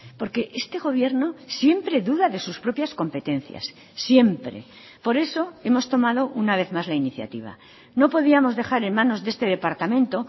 porque este gobierno siempre duda de sus propias competencias siempre por eso hemos tomado una vez más la iniciativa no podíamos dejar en manos de este departamento